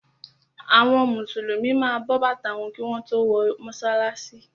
Àwọn Mùsùlùmí ma bọ bàtà wọn kí wọ́n tó wọ mọ́sálásí.